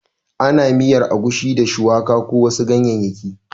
Ana miyar agushi da shuwaka ko wasu ganyayyaki